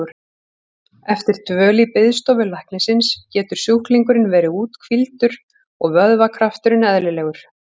Eftir dvöl í biðstofu læknisins getur sjúklingurinn verið úthvíldur og vöðvakrafturinn eðlilegur.